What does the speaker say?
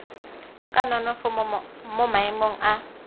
ka nonofo mo maemong a